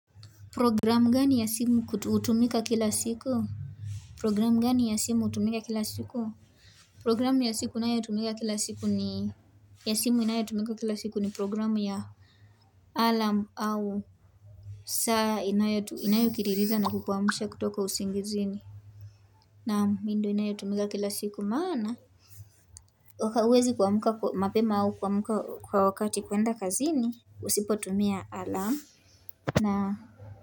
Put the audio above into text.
Programu gani ya simu hutumika kila siku? Programu gani ya simu hutumika kila siku? Programu ya simu inayotumika kila siku ni programu ya alarm au saa inayokiririza na kukuamsha kutoka usingizini naam. Hii ndio inayotumika kila siku maana wakaweze kuamka mapema au kuamka kwa wakati kuenda kazini usipotumia alarm na.